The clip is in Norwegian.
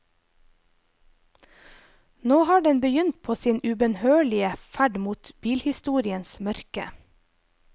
Nå har den begynt på sin ubønnhørlige ferd mot bilhistoriens mørke.